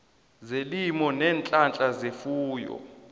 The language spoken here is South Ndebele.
zelimo neenhlahla zefuyo